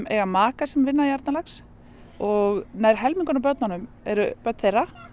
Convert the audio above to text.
eiga maka sem vinna í Arnarlax og nær helmingurinn af börnunum eru börn þeirra